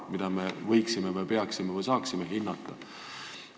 Mida me võiksime või saaksime hinnata või peaksime hindama?